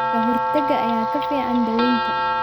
Ka-hortagga ayaa ka fiican daawaynta.